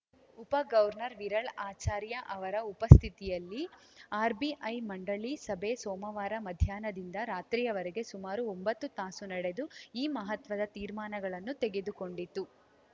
ಉಪ ಗವವರ್ನರ್‌ ವಿರಳ್‌ ಆಚಾರ್ಯ ಅವರ ಉಪಸ್ಥಿತಿಯಲ್ಲಿ ಆರ್‌ಬಿಐ ಮಂಡಳಿ ಸಭೆ ಸೋಮವಾರ ಮಧ್ಯಾಹ್ನದಿಂದ ರಾತ್ರಿಯವರೆಗೆ ಸುಮಾರು ಒಂಬತ್ತು ತಾಸು ನಡೆದು ಈ ಮಹತ್ವದ ತೀರ್ಮಾನಗಳನ್ನು ತೆಗೆದುಕೊಂಡಿತು